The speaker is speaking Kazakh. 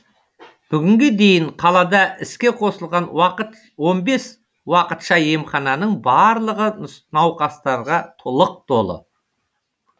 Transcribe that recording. бүгінге дейін қалада іске қосылған он бес уақытша емхананың барлығы науқастарға лық толы